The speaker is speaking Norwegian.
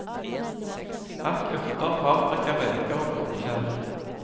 Hakk urter, paprika, reker og blåskjell.